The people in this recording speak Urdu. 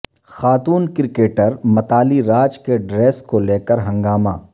خاتون کرکٹر متالی راج کے ڈریس کو لیکر ہنگامہ